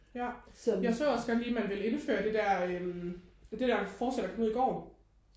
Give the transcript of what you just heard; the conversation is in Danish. Ja jeg så også godt lige man vil indføre det der det der forslag der kom ud i går